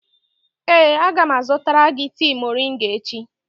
Ee, a ga m azụtara gị tea moringa echi.